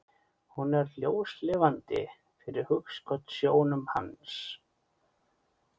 Hún er ljóslifandi fyrir hugskotssjónum hans.